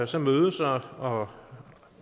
som mødes og og